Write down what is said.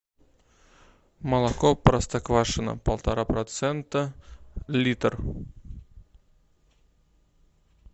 молоко простоквашино полтора процента литр